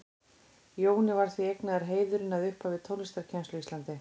Jóni er því eignaður heiðurinn að upphafi tónlistarkennslu á Íslandi.